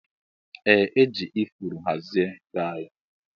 Eeh eji ifuru hazie bee anyi.